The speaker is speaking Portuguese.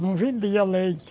Não vendia leite.